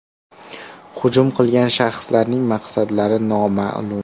Hujum qilgan shaxslarning maqsadlari noma’lum.